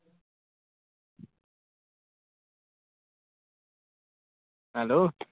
Hello